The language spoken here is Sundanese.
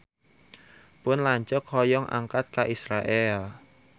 Pun lanceuk hoyong angkat ka Israel